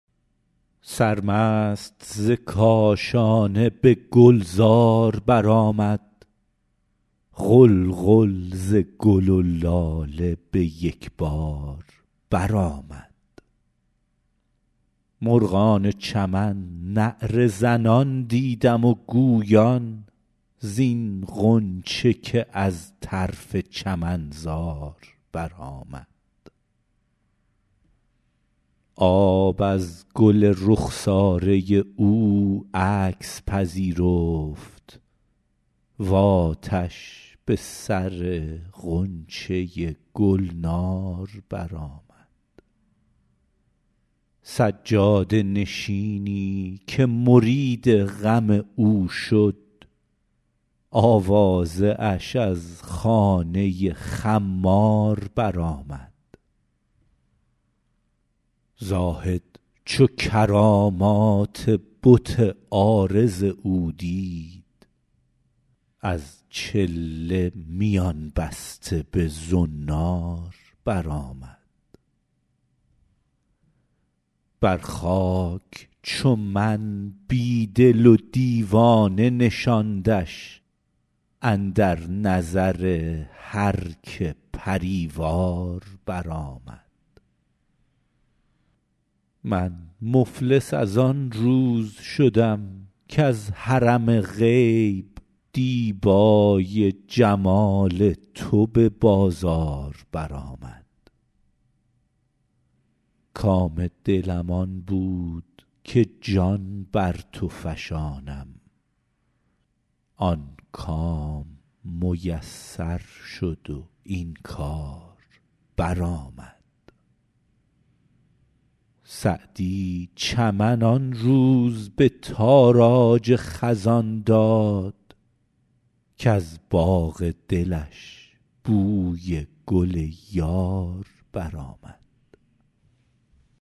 سرمست ز کاشانه به گلزار برآمد غلغل ز گل و لاله به یک بار برآمد مرغان چمن نعره زنان دیدم و گویان زین غنچه که از طرف چمنزار برآمد آب از گل رخساره او عکس پذیرفت و آتش به سر غنچه گلنار برآمد سجاده نشینی که مرید غم او شد آوازه اش از خانه خمار برآمد زاهد چو کرامات بت عارض او دید از چله میان بسته به زنار برآمد بر خاک چو من بی دل و دیوانه نشاندش اندر نظر هر که پری وار برآمد من مفلس از آن روز شدم کز حرم غیب دیبای جمال تو به بازار برآمد کام دلم آن بود که جان بر تو فشانم آن کام میسر شد و این کار برآمد سعدی چمن آن روز به تاراج خزان داد کز باغ دلش بوی گل یار برآمد